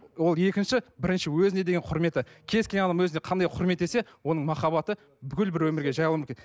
ол екінші бірінші өзіне деген құрметі кез келген адам өзіне қандай құрметтесе оның махаббаты бүкіл бір өмірге